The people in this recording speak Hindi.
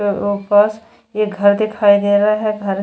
उपस ये घर दिखाई दे रहा है घर --